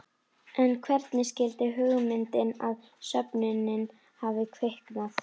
En hvernig skyldi hugmyndin að söfnuninni hafa kviknað?